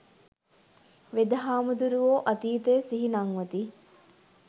වෙද හාමුදුරුවෝ අතීතය සිහි නංවති